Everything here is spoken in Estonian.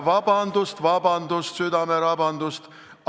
Vabandust, vabandust, südamerabandust!